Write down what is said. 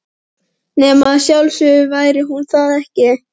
Nema að sjálfsögðu væri hún það ekki.